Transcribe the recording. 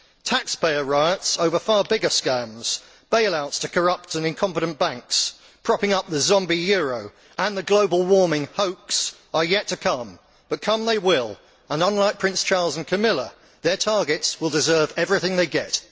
Taxpayer riots over far bigger scams bail outs to corrupt and incompetent banks, propping up the zombie euro and the global warming hoax are yet to come, but come they will and, unlike Prince Charles and Camilla, their targets will deserve everything they get.